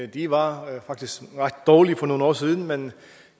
de var faktisk ret dårlige for nogle år siden men